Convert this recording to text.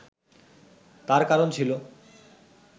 তার কারণ ছিল